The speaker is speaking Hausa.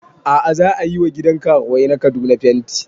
A'a za ayi wa gidan karuwai na Kaduna fenti